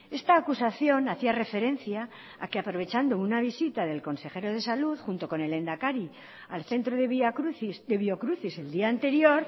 esta acusación hacía referencia a que aprovechando una visita del consejero de salud junto con el lehendakari al centro de vía crucis de biocruces el día anterior